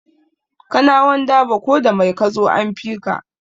Kanawan dabo ko da mai kazo an fika